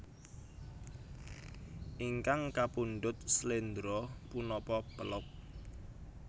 Ingkang kapundhut sléndro punapa pélog